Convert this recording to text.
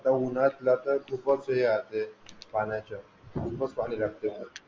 आता उन्हातला तर खूपच हे असते पाण्याचा खूपच पाणी लागते.